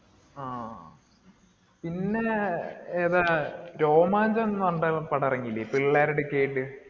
ആ. പിന്നെ ഏതാ, രോമാഞ്ചം എന്നു പറഞ്ഞിട്ടൊരു പടം ഇറങ്ങീലേ? പിള്ളേരുടെ ഒക്കെയായിട്ട്